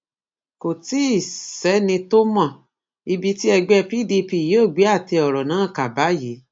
kò tí ì sẹni tó mọ ibi tí ẹgbẹ pdp yóò gbé àtẹ ọrọ náà kà báyìí